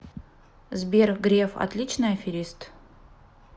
сбер греф отличный аферист